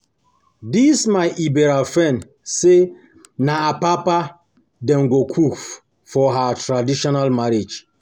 this my Ebira friend say na apapa Dem go cook for her traditional marriage